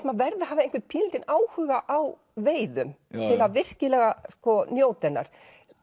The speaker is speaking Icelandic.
maður verði að hafa pínulítinn áhuga á veiðum til að virkilega njóta hennar